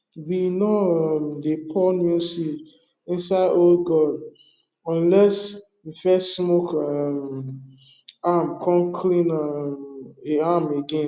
we no um dey pour new seed inside old gourd unless we first smoke um am come clean um am again